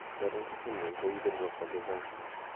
Idadan kokwe nywan kokiberurok kwal chechang.